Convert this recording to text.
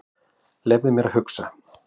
Leyfðu mér að hugsa.